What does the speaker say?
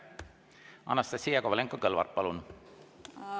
Anastassia Kovalenko-Kõlvart, palun!